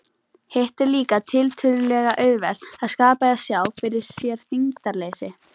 Hitt er líka tiltölulega auðvelt, að skapa eða sjá fyrir sér þyngdarleysi.